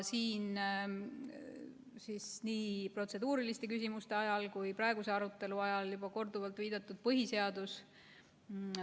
Siin on nii protseduuriliste küsimuste ajal kui ka praeguse arutelu ajal juba korduvalt viidatud põhiseadusele.